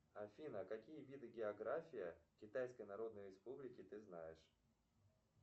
афина какие виды география китайской народной республики ты знаешь